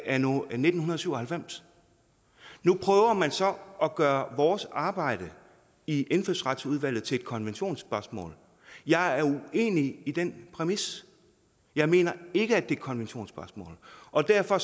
anno nitten syv og halvfems nu prøver man så at gøre vores arbejde i indfødsretsudvalget til et konventionsspørgsmål jeg er uenig i den præmis jeg mener ikke at et konventionsspørgsmål og derfor